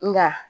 Nka